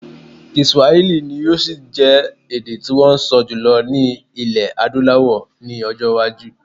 Kiswahili ni yóò ṣì jẹ́ èdè tí wọ́n ń sọ jùlọ ní ilẹ̀ Adúláwọl ní ọjọ́-iwájú.